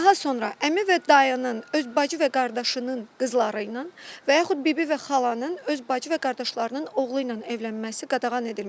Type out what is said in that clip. Daha sonra əmi və dayının öz bacı və qardaşının qızları ilə və yaxud bibi və xalanın öz bacı və qardaşlarının oğlu ilə evlənməsi qadağan edilmişdir.